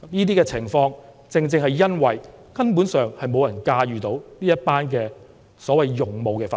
這些情況，正正是因為無人能夠駕馭這些所謂的勇武分子。